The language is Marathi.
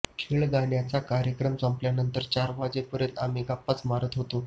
खेळगाण्याचा कार्यक्रम संपल्यानंतर चार वाजेपर्यंत आम्ही गप्पाच मारत होतो